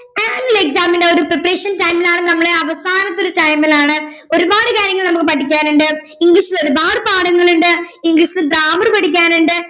annual exam ൻ്റെ ഒരു preparation time ൽ ആണ് നമ്മടെ അവസാനത്തെ ഒരു time ലാണ് ഒരുപാട് കാര്യങ്ങൾ നമ്മക്ക് പഠിക്കാനുണ്ട് ഇംഗ്ലീഷിൽ ഒരുപാട് പാഠങ്ങളുണ്ട് ഇംഗ്ലീഷിൽ grammar പഠിക്കാനുണ്ട്